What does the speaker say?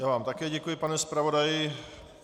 Já vám také děkuji, pane zpravodaji.